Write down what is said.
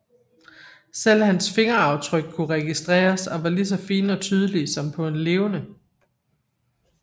Selv hans fingeraftryk kunne registreres og var lige så fine og tydelige som på en levende